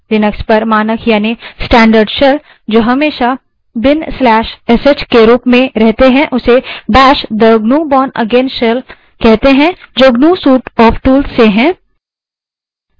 Linux पर मानक यानि standard shell जो हमेशा/bin/sh के रूप में रहते हैं उसे bash bash the gnu bourneagain shell कहते हैं जो gnu suite of tools से है